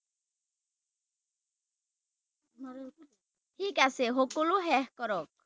ঠিক আছে সকলো শেষ কৰক